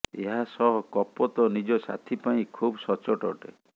ଏହା ସହ କପୋତ ନିଜ ସାଥି ପାଇଁ ଖୁବ ସଚ୍ଚୋଟ ଅଟେ